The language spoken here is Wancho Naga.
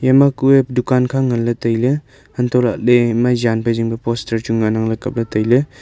eya ma kuye dukan kha ngan ley tailey untohlahle ema zanphai zingpe poster chu ngan ang kap le tailey.